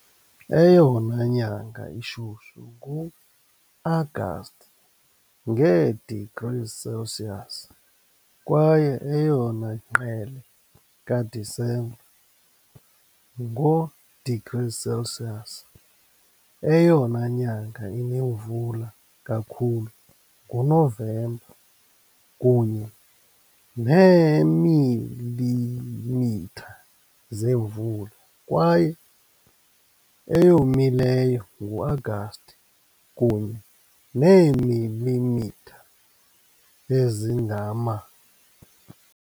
Eyona nyanga ishushu nguAgasti, ngee-degrees Celsius, kwaye eyona ngqele kaDisemba, ngoo-degrees Celsius. Eyona nyanga inemvula kakhulu nguNovemba, kunye neemilimitha zemvula, kwaye eyomileyo nguAgasti, kunye neemilimitha ezingama .